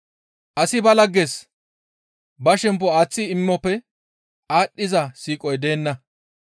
Asi ba lagges ba shemppo aaththi imoppe aadhdhiza siiqoy deenna.